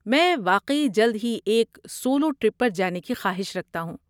میں واقعی جلد ہی ایک سولو ٹرپ پر جانے کی خواہش رکھتا ہوں۔